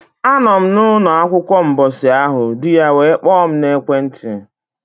A nọ m na ụnọ akwukwa mbọsị ahụ, di ya were kpoo m na ekwe nti.